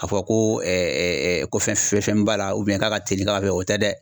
A fɔ ko ɛ ɛ ɛ ko fɛn fɛn b'a la ubiyɛn k'a ka teli ka kɛ o tɛ dɛ